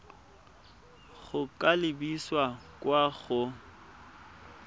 go ka lebisa kwa go